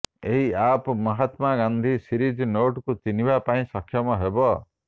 ଏହି app Mahatma Gandhi series ନୋଟକୁ ଚିହ୍ନିବା ପାଇଁ ସକ୍ଷମ ହେବ